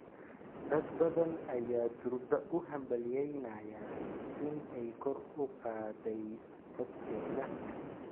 Dad badan ayaa durba u hambalyeynaya in ay kor u qaaday codkeeda.